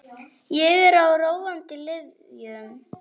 Ég er á róandi lyfjum.